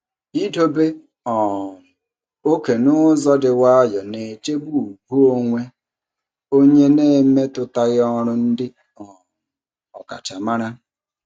Idobe um oke n'ụzọ dị nwayọọ na-echebe ùgwù onwe onye na-emetụtaghị ọrụ ndị um ọkachamara.